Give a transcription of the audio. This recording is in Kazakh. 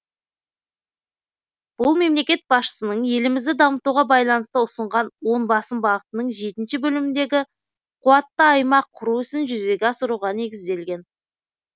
бұл мемлекет басшысының елімізді дамытуға байланысты ұсынған он басым бағытының жетінші бөліміндегі қуатты аймақ құру ісін жүзеге асыруға негізделген